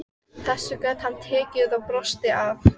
Þessu gat hann tekið og brosti að.